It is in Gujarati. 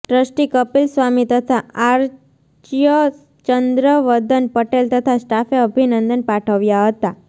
ટ્રસ્ટી કપીલ સ્વામી તથા આર્ચ્ય ચંદ્રવદન પટેલ તથા સ્ટાફે અભિનંદન પાઠવ્યા હતા